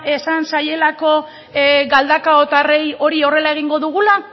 esan zaielako galdakaotarrei hori horrela egingo dugula